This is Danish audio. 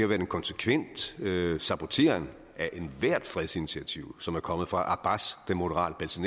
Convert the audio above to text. været en konsekvent saboteren af ethvert fredsinitiativ som er kommet fra abbas den moderate